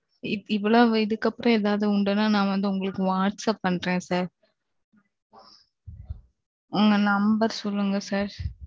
இவ்வளவு இதுக்கு அப்புறம் எதாவது உண்டுன்னா நான் வந்து உங்களுக்கு whatsapp பண்றேன் sir உங்க number சொல்லுங்க sir